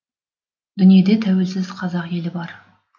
дүниеде тәуелсіз қазақ елі бар